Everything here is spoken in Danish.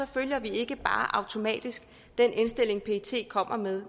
følger vi ikke bare automatisk den indstilling pet kommer med